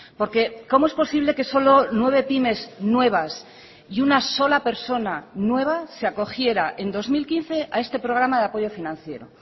porque cómo es posible que solo nueve pymes nuevas y una sola persona nueva se acogiera en dos mil quince a este programa de apoyo financiero